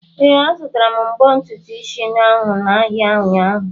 Ee, azutara m mbo ntutu isi ahụ n'ahịa ụnyaahụ.